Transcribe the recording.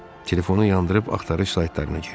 Telefonu yandırıb axtarış saytlarına girdim.